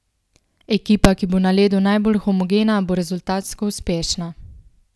Ekipa, ki bo na ledu najbolj homogena, bo rezultatsko uspešna.